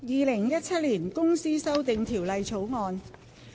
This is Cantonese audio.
《2017年公司條例草案》。